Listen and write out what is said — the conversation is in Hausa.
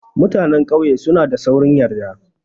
Mutanan ƙauye suna da saurin yarda.